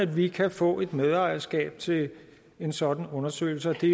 vi kan få et medejerskab til en sådan undersøgelse det